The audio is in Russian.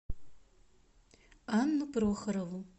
анну прохорову